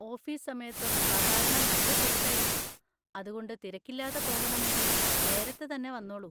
Office സമയത്ത് സാധാരണ നല്ല തിരക്കായിരിക്കും, അതുകൊണ്ട് തിരക്കില്ലാതെ പോകണങ്കിൽ നേരത്തെ തന്നെ വന്നോളൂ.